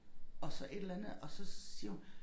Og så et eller andet og så siger hun